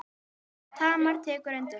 Tamar tekur undir þetta.